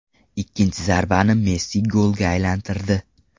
Ikkinchi zarbani Messi golga aylantirdi.